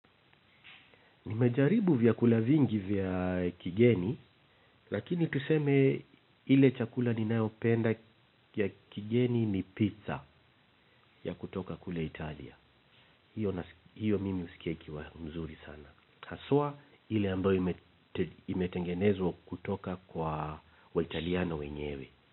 Nimejaribu vyaku lavingi vya kigeni, lakini tuseme ile chakula ninayopenda ya kigeni ni pizza ya kutoka kule Italia. Hiyo mimi husikia ikiwa mzuri sana. Haswa ile ambayo imetengenezwa kutoka kwa waitaliano wenyewe.